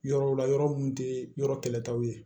Yɔrɔw la yɔrɔ mun tɛ yɔrɔ kɛlɛ taw ye